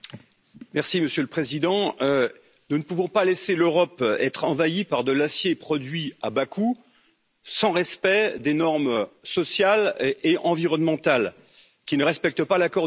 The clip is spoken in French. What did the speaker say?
Monsieur le Président, nous ne pouvons pas laisser l'Europe être envahie par de l'acier produit à bas coût, sans respect des normes sociales et environnementales, qui ne respectent pas l'accord de Paris.